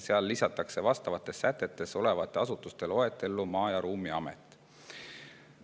Seal lisatakse vastavates sätetes olevate asutuste loetellu Maa- ja Ruumiamet.